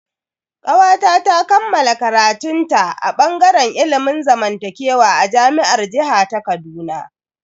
Kawata ta kammala karatun ta a bangaren ilimin zamantakewa a jami'ar jiha ta Kaduna.